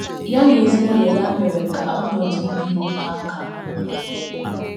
Ya na ezinụlọ ya mere ka ọnọdụ ibi ndụ ha ka mma.